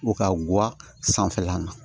U ka guwa sanfɛla na